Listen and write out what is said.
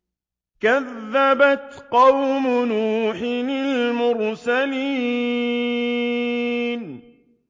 كَذَّبَتْ قَوْمُ نُوحٍ الْمُرْسَلِينَ